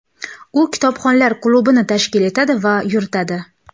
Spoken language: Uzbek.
U Kitobxonlar klubini tashkil etadi va yuritadi.